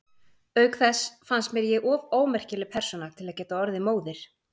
Auk þess fannst mér ég of ómerkileg persóna til að geta orðið móðir.